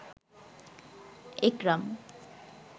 একরাম